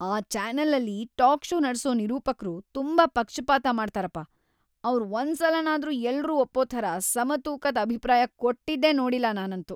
ಆ ಚಾನೆಲಲ್ಲಿ talk show ನಡ್ಸೋ ನಿರೂಪಕ್ರು ತುಂಬಾ ಪಕ್ಷಪಾತ ಮಾಡ್ತಾರಪ, ಅವ್ರ್ ಒಂದ್ಸಲನಾದ್ರೂ ಎಲ್ರೂ ಒಪ್ಪೋ ಥರ ಸಮತೂಕದ್‌ ಅಭಿಪ್ರಾಯ ಕೊಟ್ಟಿದ್ದೇ ನೋಡಿಲ್ಲ ನಾನಂತೂ.